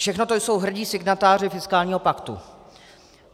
Všechno to jsou hrdí signatáři fiskálního paktu.